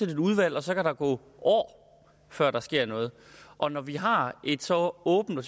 et udvalg og så kan der gå år før der sker noget og når vi har et så åbent og